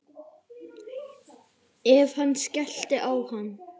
Ef hann skellti á hann.